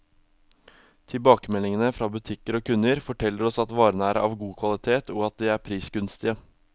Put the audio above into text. Tilbakemeldingene fra butikker og kunder, forteller oss at varene er av god kvalitet, og at de er prisgunstige.